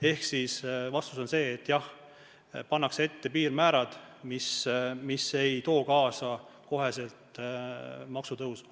Ehk vastus on see, et jah, pannakse ette piirmäärad, et see ei tooks kaasa kohest maksutõusu.